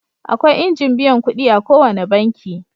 Akwai injin biyan kuɗi a ko wane banki.